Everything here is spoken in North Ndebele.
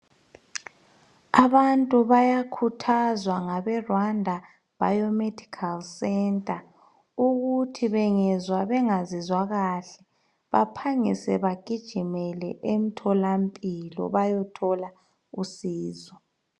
Abantu bayakuthzwa ngabe Rwanda 'Bio Medical Centre' ukuthi bengezwa bengazizwa kahle baphangise bagijimele entolaphilo baye thola usizo.